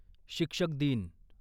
शिक्षक दिन